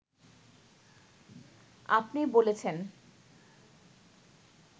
আপনি বলেছেন